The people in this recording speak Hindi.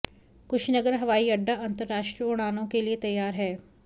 कुशीनगर हवाई अड्डा अंतर्राष्ट्रीय उड़ानों के लिए तैयार है